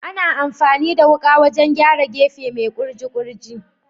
Ana amfani da wuka wurin gyara gefe mai kurji kurji